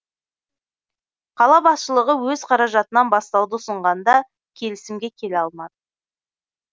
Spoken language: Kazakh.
қала басшылығы өз қаражатынан бастауды ұсынғанда келісімге келе алмады